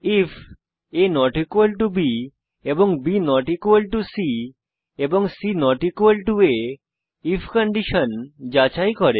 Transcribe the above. ifaবি এবং B C এবং C আ আইএফ কন্ডিশন যাচাই করে